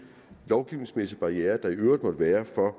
lovgivningsmæssige barrierer der i øvrigt måtte være for